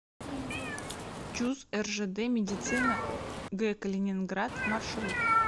чуз ржд медицина г калининград маршрут